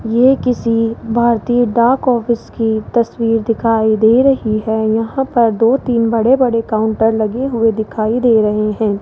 ये किसी भारतीय डाक ऑफिस की तस्वीर दिखाई दे रही है यहां पर दो तीन बड़े-बड़े काउंटर लगे हुए दिखाई दे रहे हैं।